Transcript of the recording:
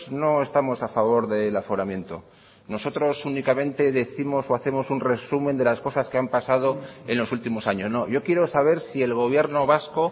no estamos a favor del aforamiento nosotros únicamente décimos o hacemos un resumen de las cosas que han pasado en los últimos años yo quiero saber si el gobierno vasco